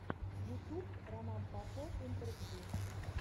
ютуб роман попов интервью